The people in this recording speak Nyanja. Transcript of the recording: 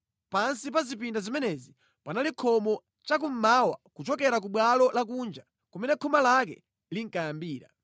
Pansi pa zipinda zimenezi panali khomo chakummawa kuchokera ku bwalo lakunja kumene khoma lake linkayambira.